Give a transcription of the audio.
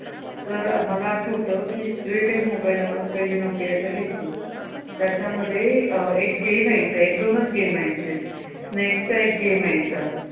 तर मला आठवतं जे कांही कि mobile आपण नोकियाचा घ्यायचो त्याच्यामध्ये एक game यायचा एक दोनच game यायचे snake चा एक game यायचा.